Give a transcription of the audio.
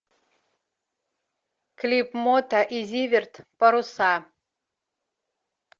клип мота и зиверт паруса